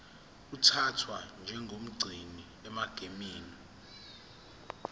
uthathwa njengomgcini egameni